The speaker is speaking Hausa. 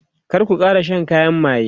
kar ku Kara Shan kayan maye!